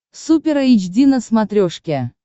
супер эйч ди на смотрешке